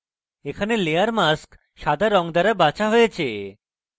এখানে layer mask সাদা রঙ দ্বারা বাছা হয়েছে